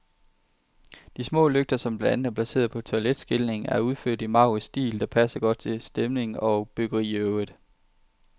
De små lygter, som blandt andet er placeret på toiletskiltningen, er udført i en maurisk stil, der passer godt til stemning og byggeri i øvrigt.